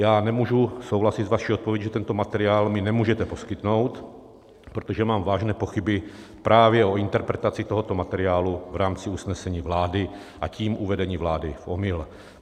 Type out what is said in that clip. Já nemůžu souhlasit s vaší odpovědí, že tento materiál mi nemůžete poskytnout, protože mám vážné pochyby právě o interpretaci tohoto materiálu v rámci usnesení vlády, a tím uvedení vlády v omyl.